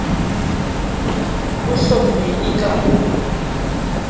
o hlomme e ka o